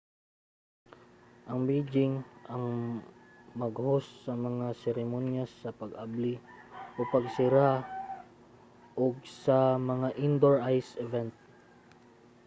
ang beijing ang mag-host sa mga seremonyas sa pag-abli ug pagsira og sa mga indoor ice event